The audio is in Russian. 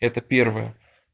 это первое